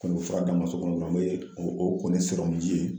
Ko n bi fura d'an ma so kɔnɔ, an bɛ o kɔni sɔrɔli ye